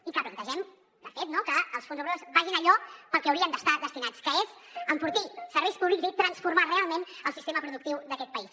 i que plantegem de fet no que els fons europeus vagin a allò a què haurien d’estar destinats que és enfortir serveis públics i transformar realment el sistema productiu d’aquest país